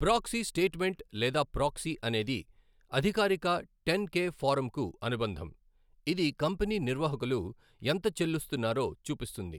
Proxy statement లేదా proxy అనేది అధికారిక టెన్ కె ఫారంకు అనుబంధం, ఇది కంపెనీ నిర్వాహకులు ఎంత చెల్లిస్తున్నారో చూపిస్తుంది.